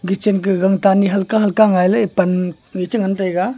kechen ka gangtan a halka halka ngailey pan chengan taiga.